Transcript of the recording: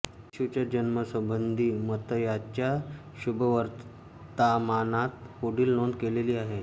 येशूच्या जन्मासंबंधी मत्तयाच्या शुभवर्तामानात पुढील नोंद केलेली आहे